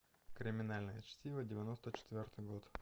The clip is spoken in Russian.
криминальное чтиво девяносто четвертый год